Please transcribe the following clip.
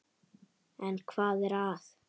En hvað er að?